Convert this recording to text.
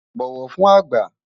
bọwọ fún àgbà